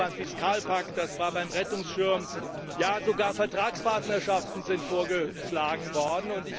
Das war so beim Fiskalpakt, das war so beim Rettungsschirm, ja sogar Vertragspartnerschaften sind vorgeschlagen worden.